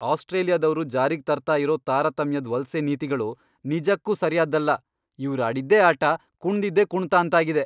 ಆಸ್ಟ್ರೇಲಿಯಾದವ್ರು ಜಾರಿಗ್ ತರ್ತಾ ಇರೋ ತಾರತಮ್ಯದ್ ವಲ್ಸೆ ನೀತಿಗಳು ನಿಜಕ್ಕೂ ಸರಿಯಾದ್ದಲ್ಲ, ಇವ್ರಾಡಿದ್ದೇ ಆಟ, ಕುಣ್ದಿದ್ದೇ ಕುಣ್ತ ಅಂತಾಗಿದೆ!